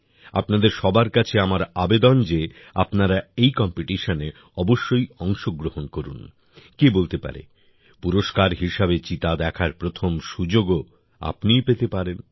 আপনাদের সবার কাছে আমার আবেদন যে আপনারা এই কম্পিটিশনে অবশ্যই অংশগ্রহণ করুন কে বলতে পারে পুরস্কার হিসাবে চিতা দেখার প্রথম সুযোগও আপনিই পেতে পারেন